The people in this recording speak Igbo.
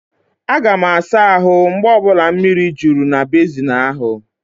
Aga m asa ahụ mgbe ọ bụla mmiri juru na bezin ahu.